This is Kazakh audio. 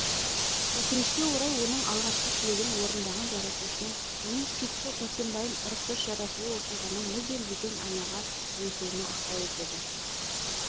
өкінішке орай оның алғашқы тілегін орындаған жаратушының оның сүйікті сәрсенбайын ұрықсыз жаратуы оқиғаның мүлдем бөтен арнаға ойысуына ықпал етеді